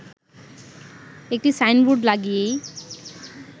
একটি সাইনবোর্ড লাগিয়েই